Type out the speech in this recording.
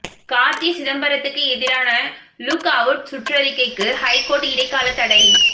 கார்த்தி சிதம்பரத்துக்கு எதிரான look out சுற்றறிக்கைக்கு ஹைகோர்ட் இடைக்கால தடை